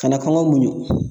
Kana kɔngɔ muɲu